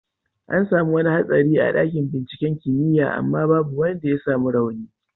An samu wani hatsari a dakin binciken kimiyya amma babu wanda ya samu rauni.